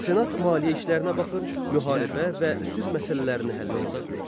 Senat maliyyə işlərinə baxır, müharibə və sülh məsələlərini həll eləyirdi.